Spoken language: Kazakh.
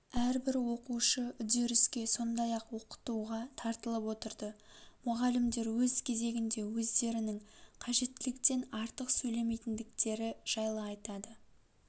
әрбір оқушы үдеріске сондай-ақ оқытуға тартылып отырды мұғалімдер өз кезегінде өздерінің қажеттіліктен артық сөйлемейтіндіктері жайлы айтады